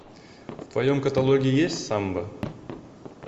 в твоем каталоге есть самба